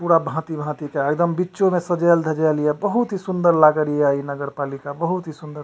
पूरा भाती-भाती के एकदम बीचो में सजैल-धजैल हिय बहुत ही सुन्दर लागी रिये ई नगर पालिका बहुत ही सुन्दर --